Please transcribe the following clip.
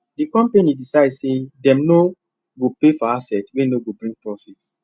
the company decide say dem no go pay for asset wey no go bring profit